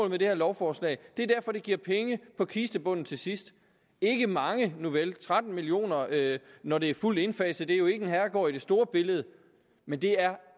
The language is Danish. med det her lovforslag det er derfor det giver penge på kistebunden til sidst ikke mange nuvel tretten million kr når det er fuldt indfaset jo ikke en herregård i det store billede men det er